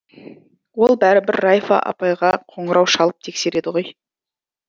ол бәрібір райфа апайға қоңырау шалып тексереді ғой